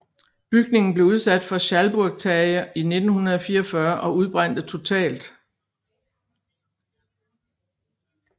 Bygningen blev udsat for schalburgtage i 1944 og udbrændte totalt